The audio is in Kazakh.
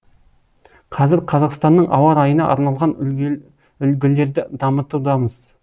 қазір қазақстанның ауа райына арналған үлгілерді дамытудамыз